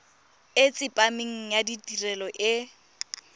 e tsepameng ya tirelo e